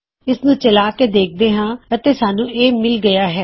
ਇਸਨੂੰ ਚਲਾ ਕੇ ਦੇਖਦੇ ਹਾਂ ਅਤੇ ਸਾਨੂੰ A ਮਿੱਲ ਗਇਆ